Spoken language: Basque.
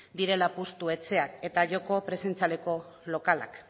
direla apustu etxeak eta joko presentzialeko lokalak